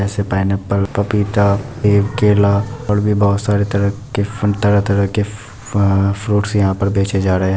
जैसे पाइनएप्पल पपीता सेब केला और भी बहुत सारे तरह के फल तरह तरह फ--फ्रूट्स यहाँ पे बेचे जा रहे है।